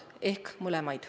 Võib-olla mõlemad.